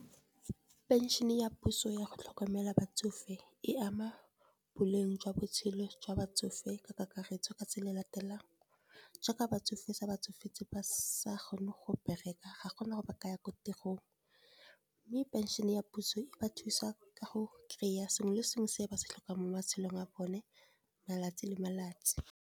Pension ya puso yago tlhokomela batsofe, e ama boleng jwa botshelo jwa batsofe ka kakaretso ka tse le latelang. Jaaka batsofe se ba tsofetse ba sa kgone go bereka, ga gona gore ba ka ya ko tirong. Mme pension ya puso e ba thusa ka go kry-a sengwe le sengwe se ba se tlhokang mo matshelong a bone malatsi le malatsi.